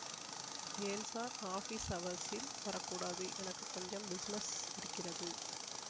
ஏன் sir office அவர்ஸில் வர கூடாது எனக்கு கொஞ்சம் பிஸினெஸ் இருக்கிறது